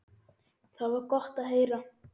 Það var gott að heyra.